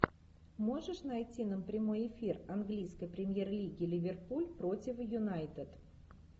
можешь найти нам прямой эфир английской премьер лиги ливерпуль против юнайтед